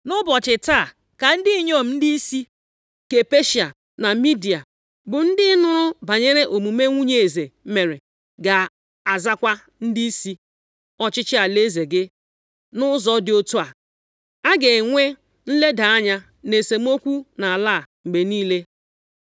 Nʼụbọchị taa ka ndị inyom ndịisi nke Peshịa na Midia, bụ ndị nụrụ banyere omume nwunye eze mere, ga-azakwa ndịisi ọchịchị alaeze gị nʼụzọ dị otu a. A ga-enwe nleda anya na esemokwu nʼala a mgbe niile.